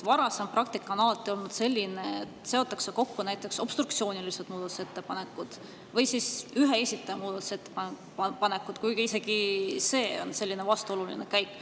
Varasem praktika on alati olnud selline, et seotakse kokku näiteks obstruktsioonilised muudatusettepanekud või siis ühe esitaja muudatusettepanekud, kuigi isegi see on vastuoluline käik.